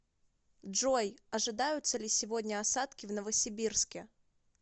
джой ожидаются ли сегодня осадки в новосибирске